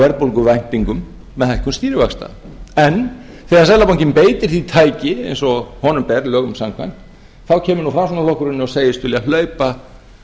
verðbólguvæntingum með hækkun stýrivaxta en þegar seðlabankinn beitir því tæki eins og honum ber lögum samkvæmt þá kemur nú framsóknarflokkurinn og segist vilja hlaupa